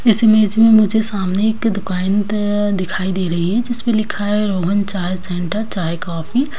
इस इमेज में मुझे सामने एक दुकान दिखाई दे रही है जिसपे लिखा है रोहन चाय सेंटर चाय कॉफी ।